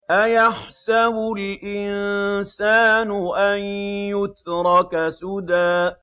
أَيَحْسَبُ الْإِنسَانُ أَن يُتْرَكَ سُدًى